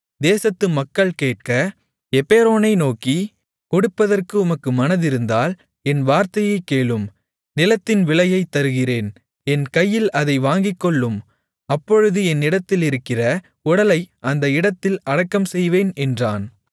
தேசத்து மக்கள் கேட்க எப்பெரோனை நோக்கி கொடுப்பதற்கு உமக்கு மனதிருந்தால் என் வார்த்தையைக் கேளும் நிலத்தின் விலையைத் தருகிறேன் என் கையில் அதை வாங்கிக்கொள்ளும் அப்பொழுது என்னிடத்திலிருக்கிற உடலை அந்த இடத்தில் அடக்கம் செய்வேன் என்றான்